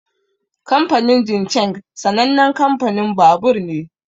Kamfanin Jincheng sanannen kamfanin babur ne.